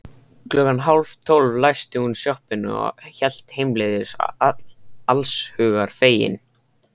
Klukkan hálftólf læsti hún sjoppunni og hélt heimleiðis allshugar fegin.